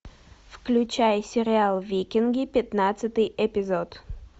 включай сериал викинги пятнадцатый эпизод